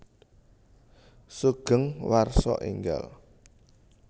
Sugeng Warsa Enggal